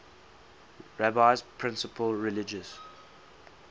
rabbi's principal religious